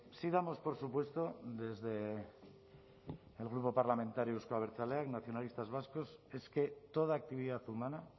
sí damos por supuesto desde el grupo parlamentario euzko abertzaleak nacionalistas vascos es que toda actividad humana